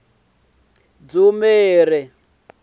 dzumeri